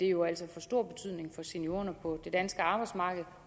jo altså få stor betydning for seniorerne på det danske arbejdsmarked